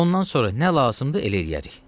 Ondan sonra nə lazımdır elə eləyərik.